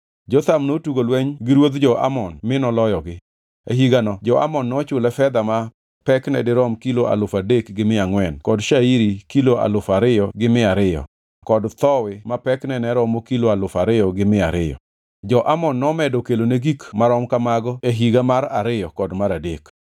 Jotham notugo lweny gi ruodh jo-Amon mi noloyogi. E higano jo-Amon nochule fedha ma pekne dirom kilo alufu adek gi mia angʼwen kod shairi kilo alufu ariyo gi mia ariyo kod thowi ma pekne ne romo kilo alufu ariyo gi mia ariyo. Jo-Amon nomedo kelone gik marom kamano e higa mar ariyo kod mar adek.